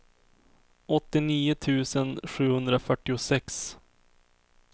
åttionio tusen sjuhundrafyrtiosex